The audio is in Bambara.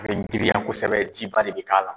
A be giriya kosɛbɛ. Ji ba de bI k'a la.